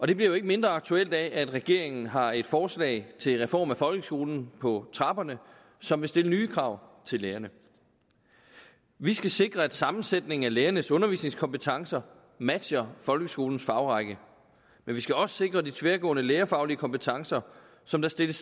det bliver jo ikke mindre aktuelt af at regeringen har et forslag til reform af folkeskolen på trapperne som vil stille nye krav til lærerne vi skal sikre at sammensætningen af lærernes undervisningskompetencer matcher folkeskolens fagrække men vi skal også sikre de tværgående lærerfaglige kompetencer som der stilles